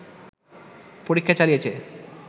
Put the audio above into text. পরীক্ষা চালিয়েছে